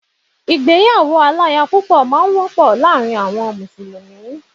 Ìgbéyàwó aláya púpọ̀ máà ń wọ́pọ̀ láàrin àwọn mùsùlùmí